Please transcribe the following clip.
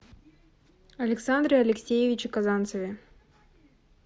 александре алексеевиче казанцеве